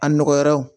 A nɔgɔraw